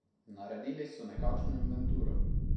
Naredili so nekakšno inventuro.